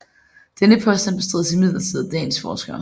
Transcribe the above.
Denne påstand bestrides imidlertid af dagens forskere